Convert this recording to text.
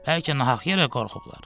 Bəlkə nahaq yerə qorxublar.